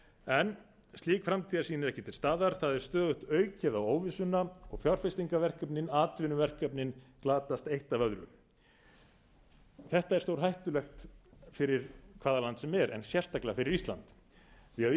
en slík framtíðarsýn er ekki til staðar það er stöðugt aukið á óvissuna og fjárfestingarverkefnin atvinnuverkefnin glatast eitt af öðru þetta er stórhættulegt fyrir hvaða land sem er en sérstaklega fyrir ísland því